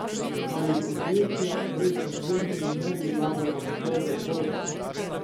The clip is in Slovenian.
Ali podjetja brez subvencij ne bi vlagala v svoj razvoj?